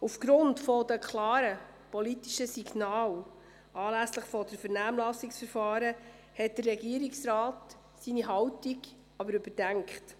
Aufgrund der klaren politischen Signale anlässlich des Vernehmlassungsverfahrens hat der Regierungsrat seine Haltung überdacht.